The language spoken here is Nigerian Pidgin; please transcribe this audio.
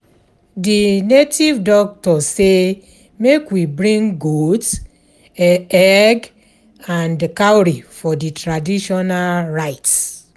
The native doctor say make we bring goat, egg and cowry for the traditional rites